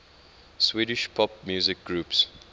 swedish pop music groups